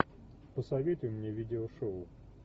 посоветуй мне видео шоу